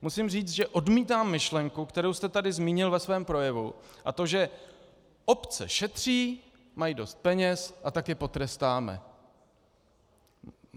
Musím říct, že odmítám myšlenku, kterou jste tady zmínil ve svém projevu, a to že obce šetří, mají dost peněz, a tak je potrestáme.